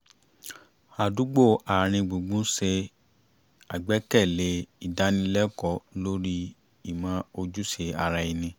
àdúgbò àárín gbùngbùn ṣe àgbékalẹ̀ ìdánilẹ́kọ̀ọ́ lórí ìmọ̀ ojúṣe ara ẹni